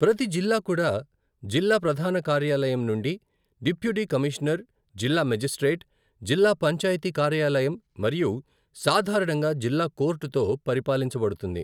ప్రతి జిల్లా కూడా జిల్లా ప్రధాన కార్యాలయం నుండి డిప్యూటీ కమీషనర్, జిల్లా మేజిస్ట్రేట్, జిల్లా పంచాయతీ కార్యాలయం మరియు సాధారణంగా జిల్లా కోర్టుతో పరిపాలించబడుతుంది.